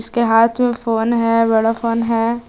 इसके हाथ में फोन है बड़ा फोन है।